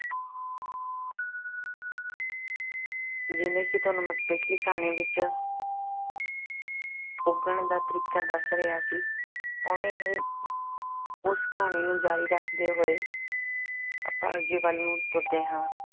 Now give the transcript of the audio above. ਜਿਵੇਂ ਕਿ ਤੁਹਾਨੂੰ ਮੈਂ ਪਿੱਛਲੀ ਕਹਾਣੀ ਵਿੱਚ ਪੁੱਗਣ ਦਾ ਤਰੀਕਾ ਦੱਸ ਰਿਹਾ ਸੀ ਉਵੇਂ ਹੀ ਉਸ ਕਹਾਣੀ ਨੂੰ ਜ਼ਾਰੀ ਰੱਖਦੇ ਹੋਏ ਆਪਾਂ ਅੱਗੇ ਵੱਲ ਨੂੰ ਤੁਰਦੇ ਹਾਂ।